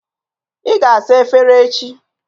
Ị ga-asa efere echi.